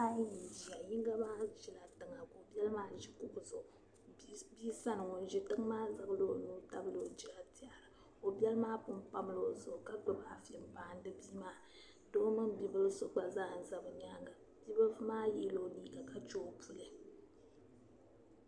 Bihi ayi n ziya yinga maa zila tiŋa ka o bɛli maa zi kuɣu zuɣu bia sani ŋuni zi tiŋa maa zaŋla o nuu n tabili o gora n tiɛhira o bɛli maa pun pamila o zuɣu ka gbubi afi n maasim bia maa doo mini bibila gba n za bi yɛanga bi bilifu maa yiɛ la o liiga ka chɛ o puli.